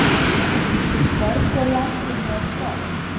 Hvergi á landinu er frost